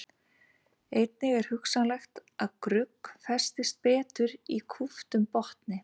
Einnig er hugsanlegt að grugg festist betur í kúptum botni.